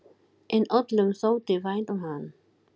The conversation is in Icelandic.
En öllum þótti vænt um hann.